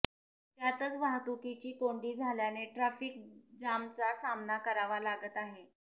त्यातच वाहतुकीची कोंडी झाल्याने ट्रॅफीक जामचा सामना करावा लागत आहे